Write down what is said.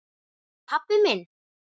Pabbi minn?